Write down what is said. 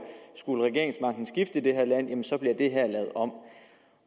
skulle regeringsmagten skifte i det her land så bliver det her lavet om